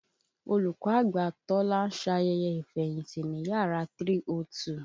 Olùkọ́ àgbà Tọ́lá ń ṣayẹyẹ ìfẹ̀yìntì ní yàrá 302